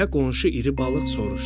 Deyə qonşu iri balıq soruşdu.